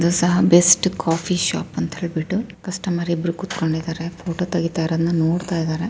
ಇದು ಸಹ ಒಂದ ಬೆಸ್ಟ್ ಕಾಫಿ ಶಾಪ್ ಅಂತ ಹೇಳಬಹುದು ಕಸ್ಟಮರ್ ಇಬ್ಬರೂ ಕೂತಿದ್ದಾರೆ.